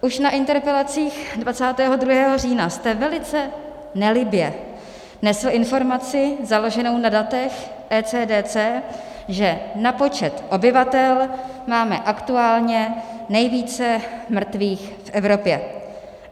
Už na interpelacích 22. října jste velice nelibě nesl informaci založenou na datech ECDC, že na počet obyvatel máme aktuálně nejvíce mrtvých v Evropě.